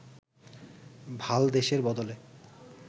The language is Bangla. ভালদেসের বদলে